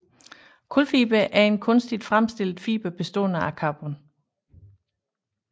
Kulfiber er en kunstigt fremstillet fiber bestående af carbon